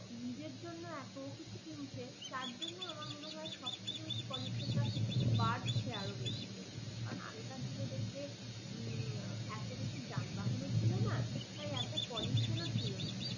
নিজের জন্য এত কিছু কিনছে যার জন্য আমার মনে হয় সবথেকে বেশি pollution টা বাড়ছে আরও বেশি পরিমাণে কারণ আগেকার দিনে দেখবে হুম এত বেশি যানবাহনও ছিল না তাই এত pollution ও ছিল না।